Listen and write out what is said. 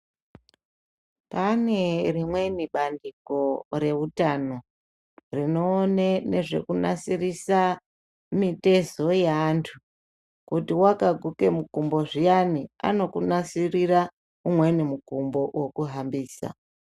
Pane rimweni bandiko reutano, rinoone nezvekunasirisa mitezo yaantu kuti wakaguke mukumbo zviyani, anokunasirira mumweni mukumbo wekuhambisa.